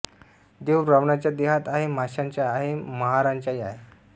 देव ब्राम्हणाच्या देहात आहे माशाच्या आहे महाराच्याही आहे